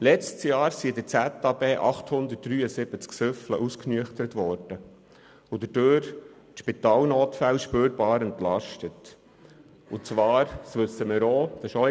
Im letzten Jahr waren es 873 Betrunkene, welche in der Ausnüchterungsstelle ausnüchterten, wodurch die Spitalnotfälle spürbar entlastet werden konnten.